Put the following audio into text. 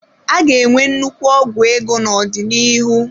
A ga-enwe nnukwu ọgwụ ego n'ọdịnihu.